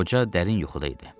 Qoca dərin yuxuda idi.